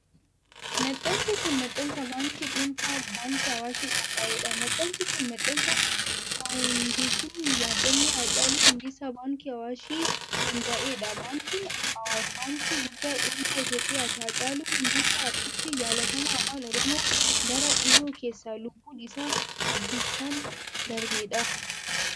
Maxxansi kun ,maxxansa baankii dhuunfaa Baankii Awaashiin qophaa'edha. Maxxansi kun, maxxansa faawundeeshinii yaadannoo Haacaaluu Hundeessaa baankii Awaashin hundaa'e dha, Baankiin ASwaash baankii guddaa dhuunfaa Itoophiyaati. Haacaaluu Hundeessa ,artistii jaalatamaa Afaan Oromoo bara dhihoo keessa lubbuun isaa ajjeechaan darbeedha.